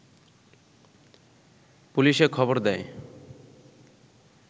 পুলিশে খবর দেয়